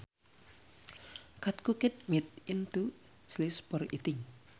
cut cooked meat into slices for eating